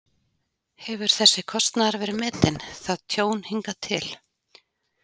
Hefur þessi kostnaður verið metinn, það tjón, hingað til?